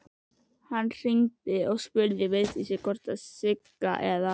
Hann hringdi og spurði Vigdísi hvort Sigga eða